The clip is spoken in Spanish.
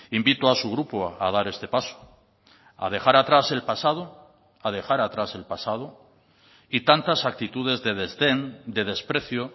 invito a su grupo a dar este paso a dejar atrás el pasado a dejar atrás el pasado y tantas actitudes de desdén de desprecio